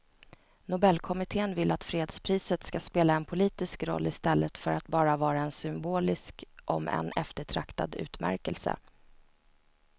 Nobelkommittén vill att fredspriset ska spela en politisk roll i stället för att bara vara en symbolisk om än eftertraktad utmärkelse.